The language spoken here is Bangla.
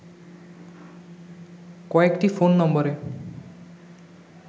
কয়েকটি ফোন নম্বরে